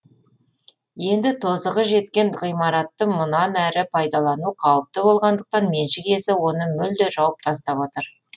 енді тозығы жеткен ғимаратты мұнан әрі пайдалану қауіпті болғандықтан меншік иесі оны мүлде жауып тастап отыр